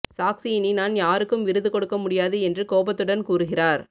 சாக்சி இனி நான் யாருக்கும் விருது கொடுக்க முடியாது என்று கோபத்துடன் கூறுகிறார்